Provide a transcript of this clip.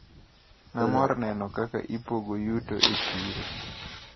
Namor neno kaka ipogo yuto e chiro.